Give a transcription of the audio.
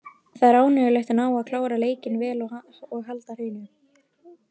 Það er ánægjulegt að ná að klára leikinn vel og halda hreinu.